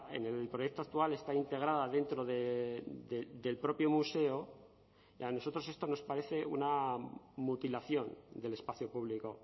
en el proyecto actual está integrada dentro del propio museo y a nosotros esto nos parece una mutilación del espacio público